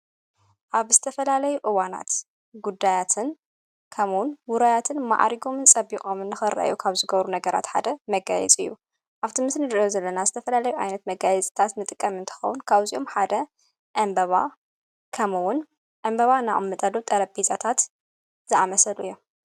ኣብ ስተፈላለይ እዋናት ጉዳያትን ከምውን ውረያትን መዓሪጎምን ጸቢቖምን ንኸርዮ ካብ ዝገብሩ ነገራት ሓደ መጋልጽ እዩ ኣብቲምስን ድዮ ዘለና ስተፈላላይ ኣይነት መጋል ጽታት ንጥቀም እንተኻውን ካብዚኦም ሓደ ኣምበባ ከምውን ዕምበባ ናኦም ምጠሎ ጠረቢጻታት ዝኣመሰዱ እዮም::